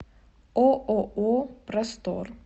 ооо простор